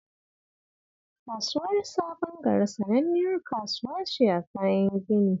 Kasuwar Sabon Gari sananniyar kasuwa ce ta kayan gini